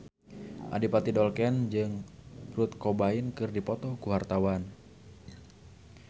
Adipati Dolken jeung Kurt Cobain keur dipoto ku wartawan